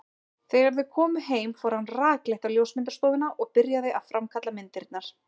Þegar þau komu heim fór hann rakleitt á ljósmyndastofuna og byrjaði að framkalla myndirnar.